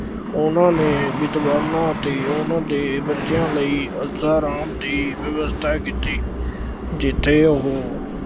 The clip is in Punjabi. ਉਹਨਾ ਨੇ ਵਿਦਵਾਨਾਂ ਅਤੇ ਉਹਨਾ ਦੇ ਬੱਚਿਆਂ ਲਈ ਐਸ਼ੋ-ਆਰਾਮ ਦੀ ਵਿਵਸਥਾ ਕੀਤੀ, ਜਿੱਥੇ ਉਹ